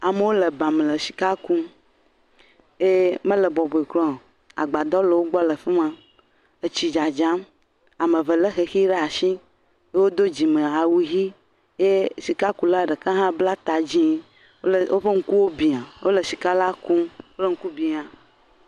Amewo le ba me le sika kum eye mele bɔbɔe kura o. Agbadɔ le wogbɔ le fi ma. Etsi dzadzam ame eve le xexi ɖe asi. Wodo dzime awu ʋi ye sikula ɖeka hã bla ta dzi klpe woƒe ŋku bia wole sika la kum. Woƒe ŋku bia.